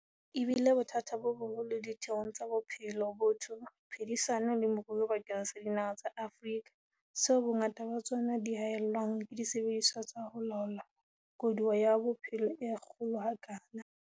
E bile bothata bo boholo ditheong tsa bophelo, botho, phedisano le moruo bakeng sa dinaha tsa Afrika, tseo bongata ba tsona di haellwang ke disebediswa tsa ho laola koduwa ya bophelo e kgolo ha kana.